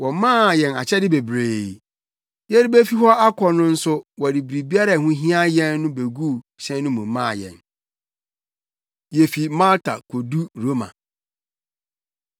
Wɔmaa yɛn akyɛde bebree. Yɛrebefi hɔ akɔ no nso wɔde biribiara a ɛho hia yɛn no beguu hyɛn no mu maa yɛn. Yefi Malta Kodu Roma